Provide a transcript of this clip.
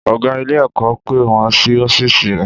Ọ̀gá ilé-ẹ̀kọ́ pè wọ́n sí ọ́fíìsì rẹ̀.